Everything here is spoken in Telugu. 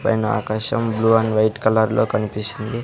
పైన ఆకాశం బ్లూ అండ్ వైట్ కలర్ లో కనిపిస్తుంది.